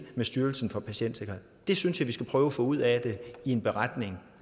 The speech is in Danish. med styrelsen for patientsikkerhed det synes jeg vi skal prøve at få ud af det i en beretning